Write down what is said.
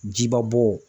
Jiba bɔ